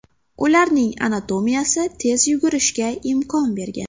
Ularning anatomiyasi tez yugurishga imkon bergan.